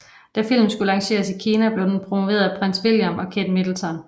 Da filmen skulle lanceres i Kina blev den promoveret af Prins William og Kate Middleton